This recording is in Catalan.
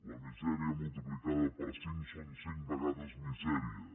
la misèria multiplicada per cinc són cinc vegades misèria